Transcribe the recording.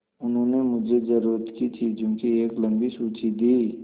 उन्होंने मुझे ज़रूरत की चीज़ों की एक लम्बी सूची दी